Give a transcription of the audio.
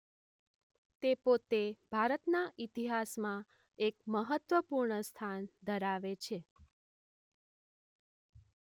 તે પોતે ભારતના ઇતિહાસમાં એક મહત્વપૂર્ણ સ્થાન ધરાવે છે.